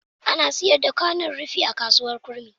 Ana sayar da kwanon rufi a kasuwar kurmi.